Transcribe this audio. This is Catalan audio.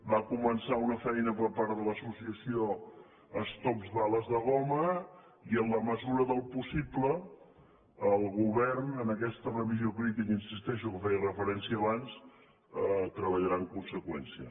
va començar una feina per part de l’associació stop bales de goma i en la mesura del possible el govern en aquesta revisió crítica hi insisteixo a què feia referència abans treballarà en conseqüència